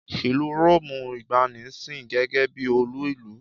Ìlú Róòmù ìgbàanì sìn gẹ́gẹ́ bí olú ìlú.